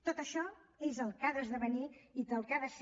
tot això és el que ha d’esdevenir i el que ha de ser